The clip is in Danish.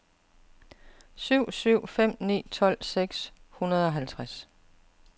syv syv fem ni tolv seks hundrede og halvtreds